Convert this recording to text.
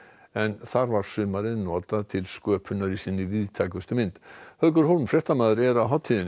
en þar var sumarið notað til sköpunar í sinni víðtækustu mynd haukur fréttamaður er á hátíðinni